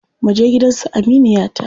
Muje gidan su aminiyata.